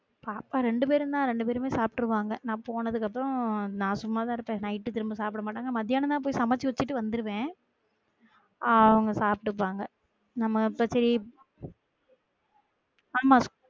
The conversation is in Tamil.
பாப்பா ரெண்டு பேருமே ரெண்டு பேருமே சாப்ட்ருவாங்க நா போனதுக்கு அப்புறம் நான் சும்மா தா இருப்பேன் night திரும்ப சாப்ட மாட்டாங்க மதியானம் தான் போய் சமச்சு வச்சுட்டு வந்துருவன் ஆஹ் அவங்க சாப்ட்டுட்டாங்க நம்மள பத்தி ஆமா